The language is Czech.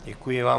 Děkuji vám.